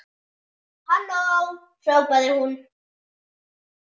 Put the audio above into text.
Halló hrópaði hún.